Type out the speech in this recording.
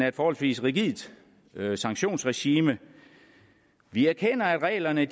et forholdsvis rigidt sanktionsregime vi erkender at reglerne